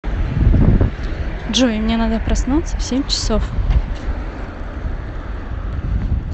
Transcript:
джой мне надо проснуться в семь часов